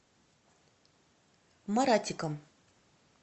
маратиком